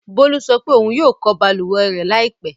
Bólú sọ pé ohun yóò ko balùwẹ̀ rẹ̀ láìpẹ́.